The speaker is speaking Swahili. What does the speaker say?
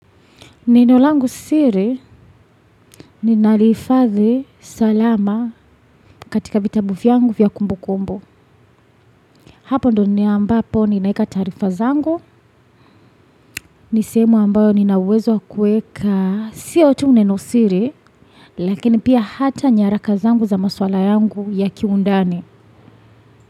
Nino langu siri ninalihifadhi salama katika vitabu vyangu vya kumbukumbu. Hapo ndo nina ambapo ninaweka taarifa zangu nisehemu ambayo ninauwezo wa kuweka siyo tu neno siri lakini pia hata nyaraka zangu za maswala yangu ya kiundani.